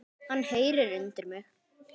Hann heyrir undir mig.